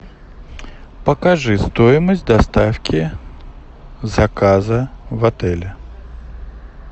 покажи стоимость доставки заказа в отеле